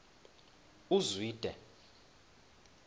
uzwide